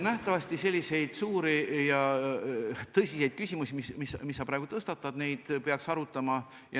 Nähtavasti selliseid suuri ja tõsiseid küsimusi, mis sa praegu tõstatasid, peaks arutama.